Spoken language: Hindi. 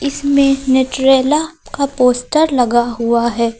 इसमें न्यूट्रेला का पोस्टर लगा हुआ है।